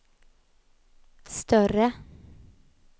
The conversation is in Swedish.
större